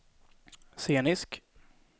scenisk